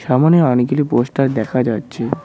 সামোনে অনেকগুলি পোস্টার দেখা যাচ্ছে।